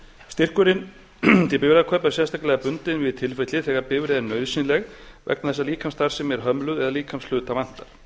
styrkurinn til bifreiðakaupa er sérstaklega bundinn við tilfelli þegar bifreið er nauðsynleg vegna þess að líkamsstarfsemi er hömluð eða líkamshluta vantar